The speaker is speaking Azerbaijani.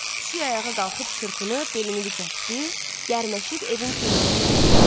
Pişik ayağa qalxıb çırpınıb belini dikətdi, gərnəşib evin küncünə tərəf getdi.